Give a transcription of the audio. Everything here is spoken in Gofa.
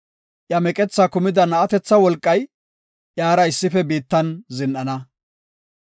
Iya meqethaa kumida na7atetha wolqay iyara issife biittan zin7ana.